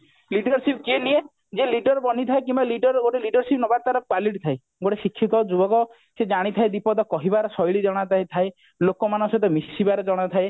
leadership କିଏ ନିଏ ଯିଏ leader ବନିଥାଏ କିମ୍ବା leader leadership ନବା ତାର quality ଥାଏ ଗୋଟେ ଶିକ୍ଷିତ ଯୁବକ ସେ ଜାଣିଥଏ ଦି ପଦ କହିବାର ଶେଳ୍ୟି ଜଣାଥାଏ ଥାଏ ଲୋକ ମାନଙ୍କ ସହିତ ମିଶିବାର ଜଣାଥାଏ